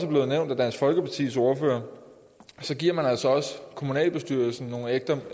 nævnt af dansk folkepartis ordfører giver man kommunalbestyrelsen nogle